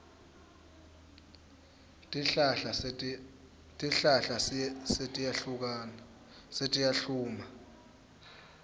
tihlahla setiyahluma